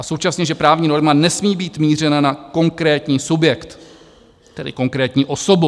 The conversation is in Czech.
A současně, že právní norma nesmí mít mířena na konkrétní subjekt, tedy konkrétní osobu.